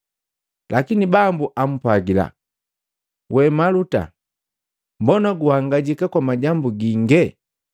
Lakini Bambu ampwagila, “We Maluta, mbona guhangajika kwa majambu gingi,